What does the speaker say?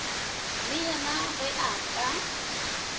le yena ge a ka